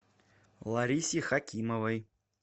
ларисе хакимовой